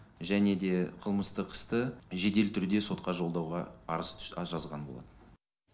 және де қылмыстық істі жедел түрде сотқа жолдауға арыз жазған болатын